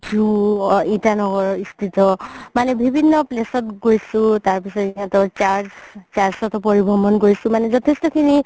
ইটানগৰ মানে বিভিন্ন place গৈছো তাৰ পিছত সিহতৰ church, church তও পঢ়িব মন গৈছো মানে যথেষ্ট খিনি